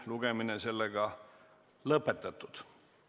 Muudatusettepanekute esitamise tähtaeg on 15. oktoober kell 17.15.